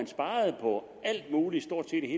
sparede på alt muligt